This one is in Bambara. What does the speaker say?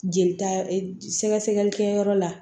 Jelita e sɛgɛsɛgɛli kɛ yɔrɔ la